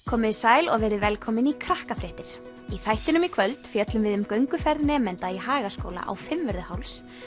komiði sæl og verið velkomin í Krakkafréttir í þættinum í kvöld fjöllum við um gönguferð nemenda í Hagaskóla á Fimmvörðuháls